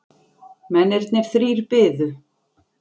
Mennirnir þrír biðu.